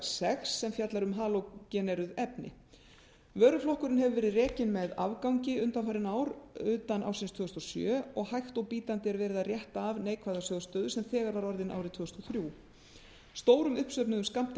sex sem fjallar um halógeneruð efni vöruflokkurinn hefur verið rekinn með afgangi undanfarin ár utan ársins tvö þúsund og sjö og hægt og bítandi er verið að rétta af neikvæða sjóð stöðu sem þegar var orðin árið tvö þúsund og þremur stórum uppsöfnuðum skammti af